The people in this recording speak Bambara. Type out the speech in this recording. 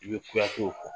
I bɛ kuyate o kɔ